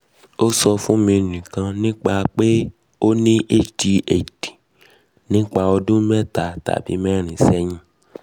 o sọ fun mi nikan nipa pe o ni adhd nipa ọdun meeta tabi meerin sẹhin